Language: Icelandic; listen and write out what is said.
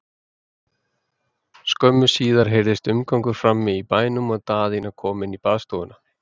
Skömmu síðar heyrðist umgangur frammi í bænum og Daðína kom inn í baðstofuna.